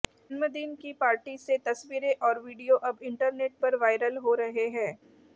जन्मदिन की पार्टी से तस्वीरें और वीडियो अब इंटरनेट पर वायरल हो रहे हैं